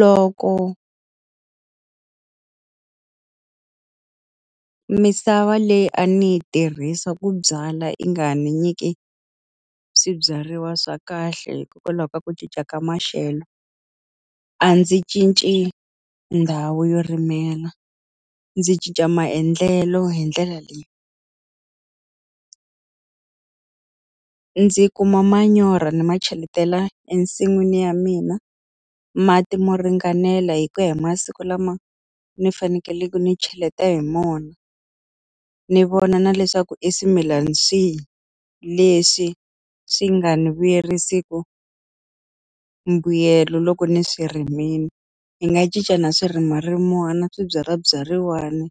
Loko misava leyi a ni yi tirhisa ku byala yi nga n'wi nyiki a swibyariwa swa kahle hikokwalaho ka ku cinca ka maxelo, a ndzi cinci ndhawu yo rimelo, ndzi cinca maendlelo hi ndlela leyi. Ndzi kuma manyoro ni ma cheletela ensin'wini ya mina, mati mo ringanela hi ku ya hi masiku lama ni fanekele ni cheleta hi wona. Ni vona na leswaku i swimilana swihi leswi swi nga ni vuyerisiki mbuyelo loko ni swi rimile. Ni nga cinca na swirimarimani Swibyalabyariwana,